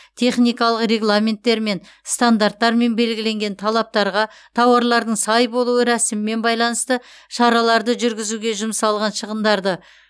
техникалық регламенттермен стандарттармен белгіленген талаптарға тауарларлың сай болуы рәсімімен байланысты шараларды жүргізуге жұмсалған шығындарды